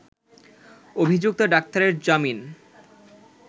অভিযুক্ত ডাক্তারের জামিন